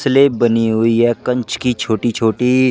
slab बनी हुई है कंच की छोटी छोटी--